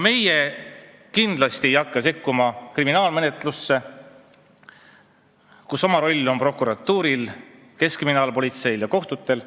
Meie ei hakka kindlasti sekkuma kriminaalmenetlusse, kus oma roll on prokuratuuril, keskkriminaalpolitseil ja kohtutel.